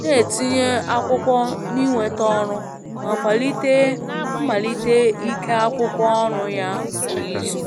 na-etinye akwụkwọ n'inweta ọrụ ma kwalite mmalite ike akwukwọ ọrụ ya kwa izu.